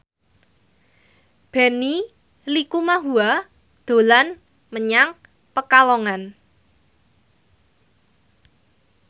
Benny Likumahua dolan menyang Pekalongan